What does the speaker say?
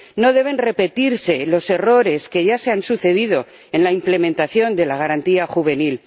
No deben repetirse los errores que ya se han sucedido en la implementación de la Garantía Juvenil.